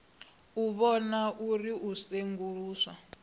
u vhona uri u senguluswa